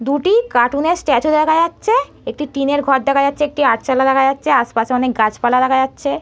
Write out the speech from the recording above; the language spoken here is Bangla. দুটি কার্টুন -এর স্ট্যাচু দেখা যাচ্ছে একটি টিনের ঘর দেখা যাচ্ছে একটি আটচালা দেখা যাচ্ছে আশপাশে অনেক গাছপালা দেখা যাচ্ছে ।